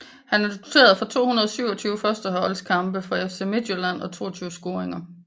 Han er noteret for 227 førsteholdskampe for FC Midtjylland og 22 scoringer